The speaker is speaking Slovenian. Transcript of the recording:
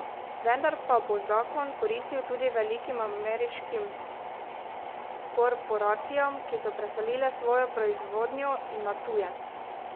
Vendar pa bo zakon koristil tudi velikim ameriškim korporacijam, ki so preselile svojo proizvodnjo na tuje.